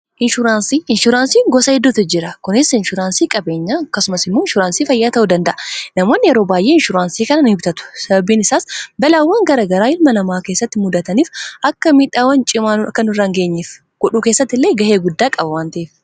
Inshuraansii gosa hedduutu jira; isaanis inshuraansii qabeenyaa fi inshuraansii fayyaa ta'uu danda'u. Namoonni yeroo baay'ee inshuraansii kanneen kan galmatan (bitatan), sababiin isaas balaawwan garaa garaa uumamuun miidhaan cimaan akka nurra hin geenye ittisuu keessatti gahee guddaa waan qabuufi.